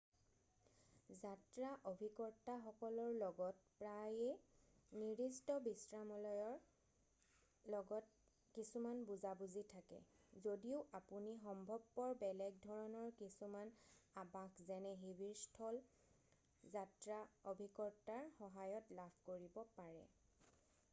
যাত্ৰা অভিকৰ্তাসকলৰ লগত প্ৰায়ে নিৰ্দিষ্ট বিশ্ৰামলয়ৰ লগত কিছুমান বুজা-বুজি থাকে যদিও আপুনি সম্ভৱপৰ বেলেগ ধৰণৰ কিছুমান আবাস যেনে শিবিৰস্থল যাত্ৰা অভিকৰ্তাৰ সহায়ত লাভ কৰিব পাৰে